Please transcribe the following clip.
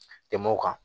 Tɛmɛ o kan